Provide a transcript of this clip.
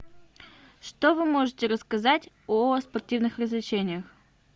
что вы можете рассказать о спортивных развлечениях